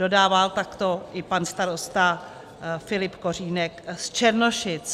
Dodává takto i pan starosta Filip Kořínek z Černošic.